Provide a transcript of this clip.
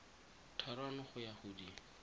thataro go ya go di